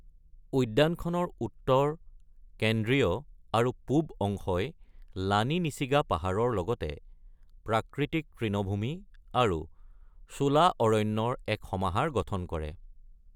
উদ্যানখনৰ উত্তৰ, কেন্দ্ৰীয় আৰু পূব অংশই লানি নিছিগা পাহাৰৰ লগতে প্ৰাকৃতিক তৃণভূমি আৰু শোলা অৰণ্যৰ এক সমাহাৰ গঠন কৰে।